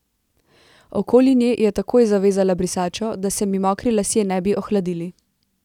Okoli nje je takoj zavezala brisačo, da se mi mokri lasje ne bi ohladili.